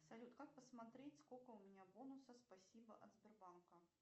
салют как посмотреть сколько у меня бонуса спасибо от сбербанка